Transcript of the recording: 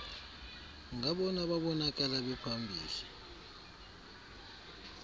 ngabona babonakala bephambili